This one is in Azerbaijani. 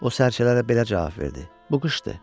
O sərçələrə belə cavab verdi: “Bu qışdır.”